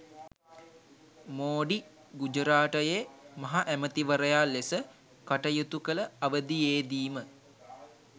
මෝඩි ගුජරාටයේ මහ ඇමතිවරයා ලෙස කටයුතු කළ අවදියේදීම